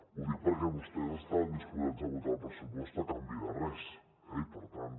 ho dic perquè vostès estaven disposats a votar el pressupost a canvi de res eh i per tant